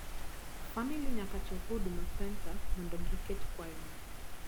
famili nyaka chop huduma center mondo gi ket kwayono